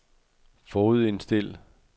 forudindstil